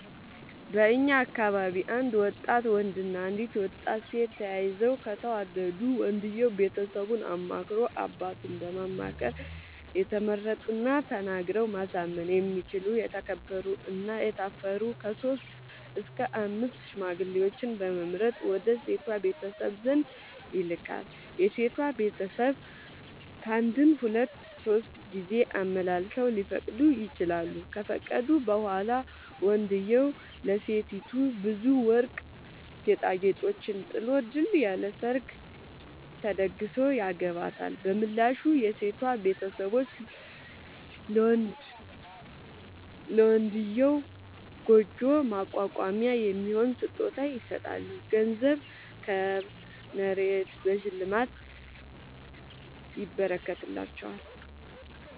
በእኛ አካባቢ አንድ ወጣት ወንድ እና አንዲት ሴት ተያይተው ከተወዳዱ ወንድየው ቤተሰቡን አማክሮ አባቱን በማማከር የተመረጡና ተናግረው ማሳመን የሚችሉ የተከበሩ እና የታፈሩ ከሶስት እስከ አምስት ሽማግሌዎችን በመምረጥ ወደ ሴቷ ቤተሰብ ዘንድ ይልካል። የሴቷ ቤተሰብ ካንድም ሁለት ሶስት ጊዜ አመላልሰው ሊፈቅዱ ይችላሉ። ከፈቀዱ በኋላ ወንድዬው ለሴቲቱ ብዙ ወርቅ ጌጣጌጦችን ጥሎ ድል ያለ ሰርግ ተደግሶ ያገባታል። በምላሹ የሴቷ ቤተሰቦች ለመንድዬው ጉጆ ማቋቋሚያ የሚሆን ስጦታ ይሰጣሉ ገንዘብ፣ ከብት፣ መሬት በሽልማት ይረከትላቸዋል።